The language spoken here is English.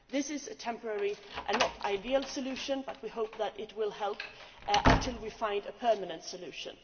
This is a temporary and far from ideal solution, but we hope that it will help until we find a permanent solution.